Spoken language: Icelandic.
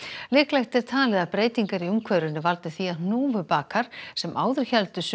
líklegt er talið að breytingar í umhverfinu valdi því að hnúfubakar sem áður héldu suður